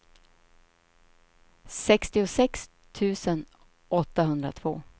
sextiosex tusen åttahundratvå